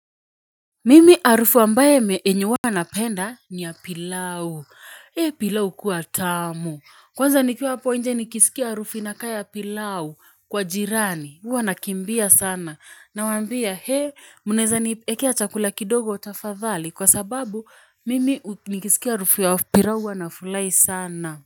Mimi harufu ambaye yenye huwa na penda ni ya pilau. He pilau hukuwa tamu. Kwanza nikiwa hapo nje nikisikia harufu inakaa ya pilau kwa jirani. Uwa nakimbia sana. Nawambia hee munaeza niekea chakula kidogo tafadhali. Kwa sababu mimi nikisikia harufu ya pilau huwa nafulai sana.